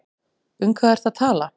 Um hvað ertu að tala?